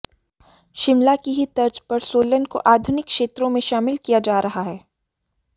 शिमला की ही तर्ज पर सोलन को आधुनिक क्षेत्रों में शामिल किया जा रहा है